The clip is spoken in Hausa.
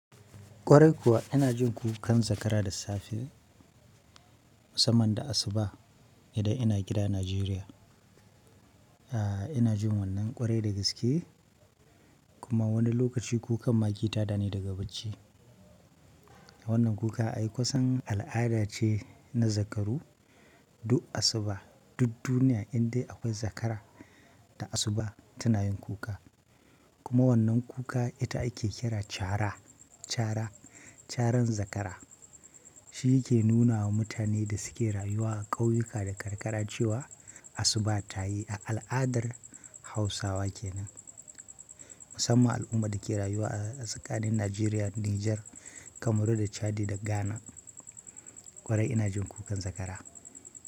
Kwarai kuwa ina jin kukan zakara da safe musamman da asuba idan ina gida Najeriya. Aaa ina jin wannan ƙwarai da gaske kuma wannan lokaci kukan mage ya tada ni daga bacci. Wannan kuka ai kusan al'ada ce na zakaru duk asuba duk duniya indai akwai zakara da asuba tana yin kuka. Kuma wannan kuka ita ake kira cara, cara, caran zakara. Shi ke nuna wa mutanen da suke rayuwa a ƙauyuka da karkara cewa asuba ta yi. A al'adar Hausawa kenan musamman al'ummar da ke rayuwa a tsakanin Najeriya, Nijar, Kamaru da Chadi da Ghana. Kwarai ina jin kukan zakara.